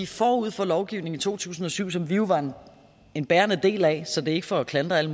forud for lovgivningen i to tusind og syv som vi jo var en bærende del af så det er ikke for at klandre alle